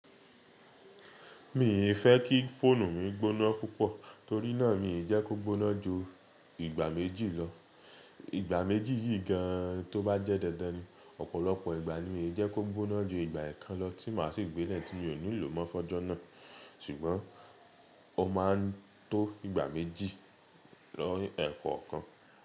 Mi n fẹ́ kí fóònù mi gbóná púpọ̀ torí náà mi jẹ́ kó gbóná ju ìgbà méjì lọ. Ìgbà méjì yìí gan tó bá jẹ́ dandan ni ọ̀pọ̀lọpọ̀ ìgbà ni mi jẹ́ kó gbóná ju ìgbà ẹ̀kan lọ tí mà á sì gbé lẹ́ẹ̀tí mi ò ní lò mọ́ fọ́jọ́ náà. Ṣùgbọ́n ó ma ń tó ìgbà méjì lọ ẹ̀ẹ̀kọ̀kan.